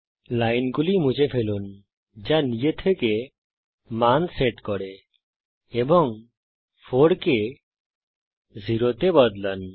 লাইনগুলি মুছে ফেলুন যা নিজে থেকে মান সেট করে এবং 4 কে 0 তে বদলান